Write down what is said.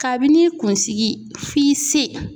Kabini kunsigi f'i se.